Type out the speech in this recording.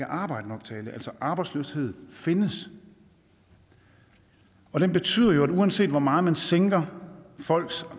arbejde nok til alle altså arbejdsløshed findes den betyder jo at uanset hvor meget man sænker folks